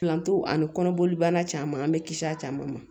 Planto ani kɔnɔboli banna caman bɛ kisi a caman ma